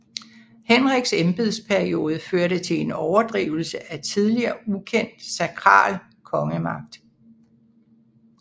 Henriks embedsperiode førte til en overdrivelse af tidligere ukendt sakral kongemagt